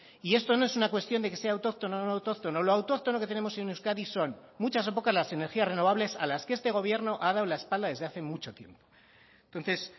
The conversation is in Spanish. y esto no es una cuestión de que sea autóctono o no autóctono lo autóctono que tenemos en euskadi son en muchas o pocas las energías renovables a las que este gobierno ha dado la espalda desde hace mucho tiempo entonces